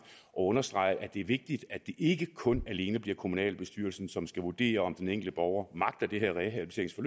og understreget at det er vigtigt at det ikke kun alene bliver kommunalbestyrelsen som skal vurdere om den enkelte borger magter det kan